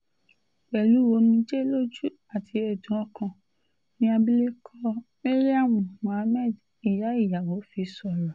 pẹ̀lú omijé lójú àti ẹ̀dùn ọkàn ni abilékọ maryam muhammed ìyá ìyàwó fi sọ̀rọ̀